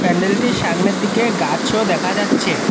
প্যান্ডেলটির সামনের দিকে গাছও দেখা যাচ্ছে।